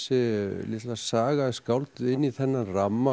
litla saga er skálduð inn í þennan ramma